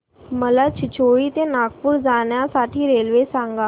मला चिचोली ते नागपूर जाण्या साठी रेल्वे सांगा